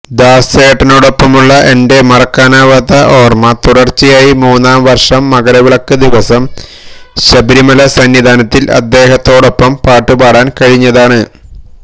ദാസേട്ടനോടൊപ്പമുള്ള എന്റെ മറക്കാനാവാത്ത ഓര്മ തുടര്ച്ചയായി മൂന്നുവര്ഷം മകരവിളക്ക് ദിവസം ശബരിമല സന്നിധാനത്തില് അദ്ദേഹത്തോടൊപ്പം പാട്ടുപാടാന് കഴിഞ്ഞതാണ്